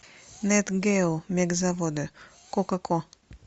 нетгейл мегазаводы кока ко